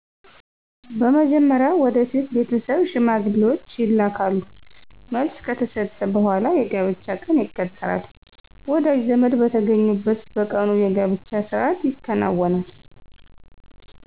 በመጀመርያ ወደ ሴት ቤተሠብ ሽማግሌዎች ይላካሉ መልሥ ከተሠጠ በሗላ የጋብቻ ቀን ይቀጠራል ወዳጅ ዘመድ በተገኙበት በቀኑ የጋብቻ ሥርአት ይከናወናል